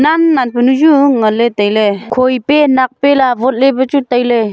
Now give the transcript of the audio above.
am manpho nu ju nganle taile khoe pe nak pe la awot le bu chu taile.